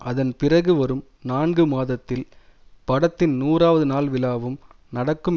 அதன் பிறகு வரும் நான்கு மாதத்தில் படத்தின் நூறாவது நாள் விழாவும் நடக்கும்